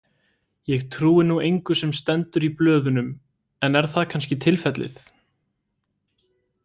Ég trúi nú engu sem stendur í blöðunum en er það kannski tilfellið?